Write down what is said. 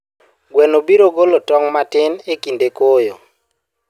Gweno biro golo tong' matin e kinde koyo.